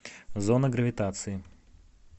зона гравитации